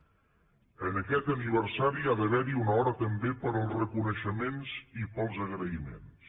en aquest aniversari hi ha d’haver una hora també per als reconeixements i per als agraïments